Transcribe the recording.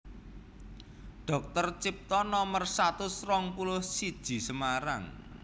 Dr Cipto Nomer satus rong puluh siji Semarang